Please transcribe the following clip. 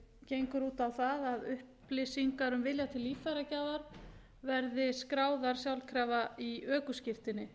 gengur út á það að upplýsingar um vilja til líffæragjafar verði skráðar sjálfkrafa í ökuskírteini